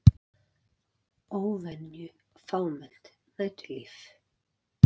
Óvenju fámennt næturlíf